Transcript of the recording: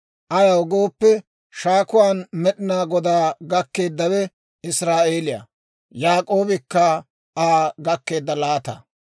Ayaw gooppe, shaakuwaan Med'inaa Godaa gakkeeddawe Israa'eeliyaa; Yaak'oobikka Aa gakkeedda laataa.